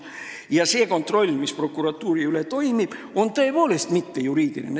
Ja see kontroll, mis prokuratuuri üle toimib, on tõepoolest mittejuriidiline.